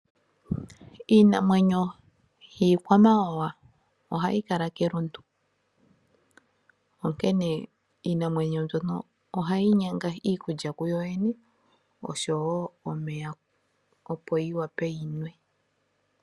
Iinamwenyo yiikwamawawa ohayi kala kelundu. Onkene iinamwenyo mbyono ohayi nyanga iikulya kuyo yene osho wo omeya opo yi vule yinwe.